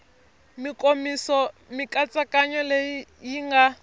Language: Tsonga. mikomiso mikatsakanyo leyi yi nga